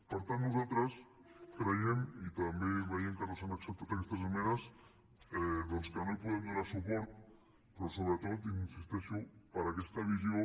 per tant nosaltres creiem i també veiem que no s’han acceptat aquestes esmenes doncs que no hi podem donar suport però sobretot hi insisteixo per aquesta visió